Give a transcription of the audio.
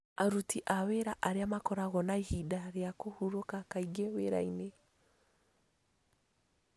Aruti a wĩra arĩa makoragwo na ihinda rĩa kũhurũka kaingĩ wĩrainĩ